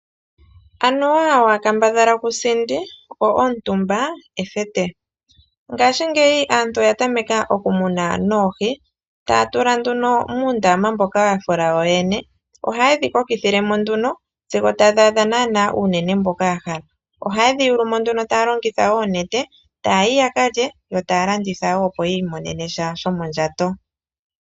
Anuwa waakambadhala kusindi, go omutumba ethete. Ngaashingeyi aantu oya tameka okumuna noohi, taa tula muundama mboka yafula yoyene. Ohayedhi kokithilemo sigo yadhi adha naanaa uunene mboka yahala. Ohaye dhi yulumo taa longitha oonete, taayi yakalye yo taa landitha woo opo yiimonene sha shomondjato.